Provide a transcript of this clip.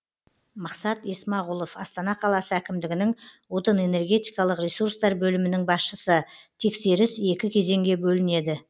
мақсат есмағұлов астана қаласы әкімдігінің отын энергетикалық ресурстар бөлімінің басшысы тексеріс екі кезеңге бөлінеді